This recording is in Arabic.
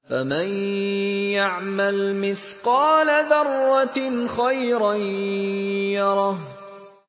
فَمَن يَعْمَلْ مِثْقَالَ ذَرَّةٍ خَيْرًا يَرَهُ